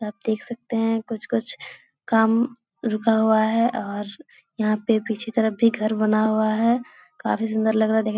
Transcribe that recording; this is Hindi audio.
आप देख सकते हैं कुछ-कुछ काम रुका हुआ है और यहाँ पे पीछे तरफ भी घर बना हुआ है काफ़ी सुन्दर लग रहा है देख --